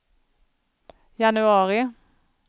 januari